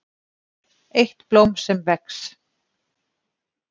EITT BLÓM SEM VEX